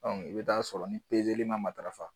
i bɛ taa sɔrɔ ni pezeli man matarafa